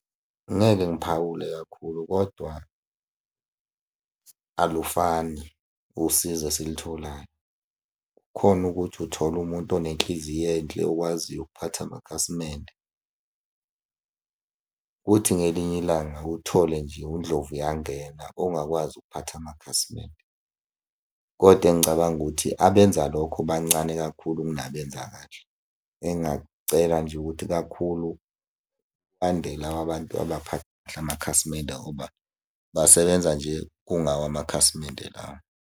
Ngeke ngiphawule kakhulu kodwa alufani usizo esilitholayo. Kukhona ukuthi uthola umuntu onenhliziyp enhle okwaziyo ukuphatha amakhasimende, kuthi ngelinye ilanga uthole nje undlovuyangena ongakwazi ukuphatha amakhasimende, koda engicabanga ukuthi abenza lokho bancane kakhulu kunabenza kahle. Engingakucela nje ukuthi kakhulu kwande laba bantu amakhasimende ngoba basebenza nje kungawo amakhasimende lawo.